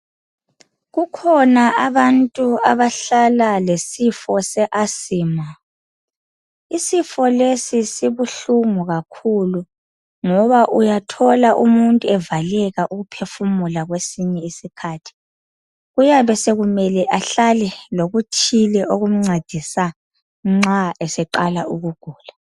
Kukhona abantu abahlala lesifo se asima. Isifo lesi sibuhlungu kakhulu ngoba uyathola umuntu evaleka ukuphefumula kwesinye isikhathi. Kuyabe sekumele ahlale lokuthile okumncedisa nxa eseqala ukugula.